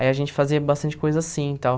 Aí a gente fazia bastante coisa assim e tal.